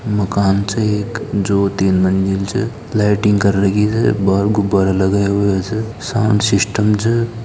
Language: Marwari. मकान छे एक ज्योति लगी छे लाइटिंग कर रही है बाहर गुब्बारा लगाए हुए है ऐसे साउंड सिस्टम छे।